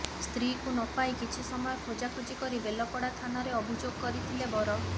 ସ୍ତ୍ରୀକୁ ନ ପାଇ କିଛି ସମୟ ଖୋଜା ଖୋଜି କରି ବେଲପଡା ଥାନାରେ ଅଭିଯୋଗ କରିଥିଲେ ବର